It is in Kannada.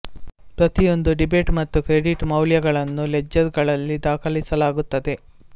ಪ್ರತಿಯೊಂದು ಡೆಬಿಟ್ ಮತ್ತು ಕ್ರೆಡಿಟ್ ಮೌಲ್ಯಗಳನ್ನು ಲೆಡ್ಜೆರ್ ಗಳಲ್ಲಿ ದಾಖಲಿಸಲಾಗುತ್ತದೆ